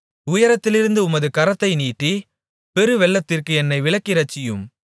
உயரத்திலிருந்து உமது கரத்தை நீட்டி பெருவெள்ளத்திற்கு என்னை விலக்கி இரட்சியும்